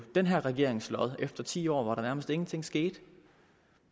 den her regerings lod efter ti år hvor der nærmest ingenting skete